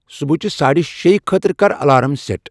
صبحٲچِہ ساڑِ شییِہ خٲطرٕ کر الارام سیٹ ۔